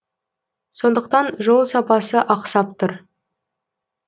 сондықтан жол сапасы ақсап тұр